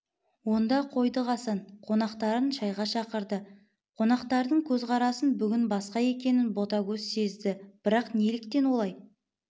онда қойдық асан қонақтарын шайға шақырды қонақтардың көзқарасы бүгін басқа екенін ботагөз сезді бірақ неліктен олай